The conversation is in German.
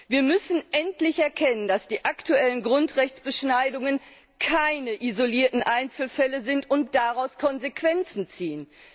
Wir müssen endlich erkennen, dass die aktuellen Grundrechtsbeschneidungen keine isolierten Einzelfälle sind, und daraus Konsequenzen ziehen.